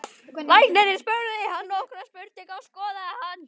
Læknirinn spurði hann nokkurra spurninga og skoðaði hann.